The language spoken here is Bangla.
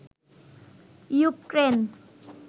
ইউক্রেন